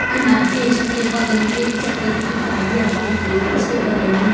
and आप देख सकते है बगल मे एक चप्पल की दुकान भी आपको दिख रही होगी उसके बगल मे--